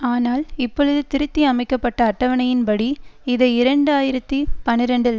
ஆனால் இப்பொழுது திருத்தி அமைக்க பட்ட அட்டவணையின்படி இதை இரண்டு ஆயிரத்தி பனிரெண்டில்